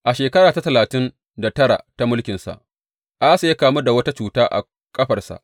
A shekara ta talatin da tara ta mulkinsa, Asa ya kamu da wata cuta a ƙafarsa.